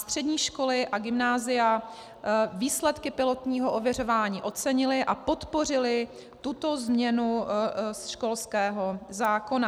Střední školy a gymnázia výsledky pilotního ověřování ocenily a podpořily tuto změnu školského zákona.